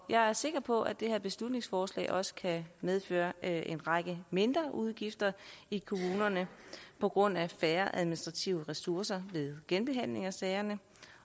jeg er sikker på at det her beslutningsforslag også kan medføre en række mindreudgifter i kommunerne på grund af færre administrative ressourcer ved genbehandling af sagerne